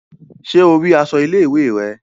Ṣe o ríi aṣọ ilé-ìwé rẹ?